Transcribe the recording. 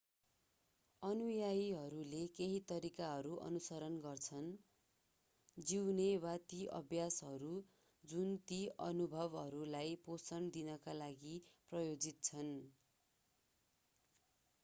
अनुयायीहरूले केही तरिकाहरू अनुसरण गर्छन् जिउने वा ती अभ्यासहरू जुन ती अनुभवहरूलाई पोषण दिनका लागि प्रायोजित छन्